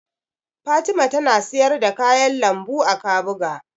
Fatima tana siyar da kayan lambu a Kabuga.